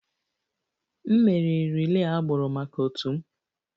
M meriri relay agbụrụ maka m otu